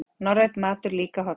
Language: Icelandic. Norrænn matur líka hollur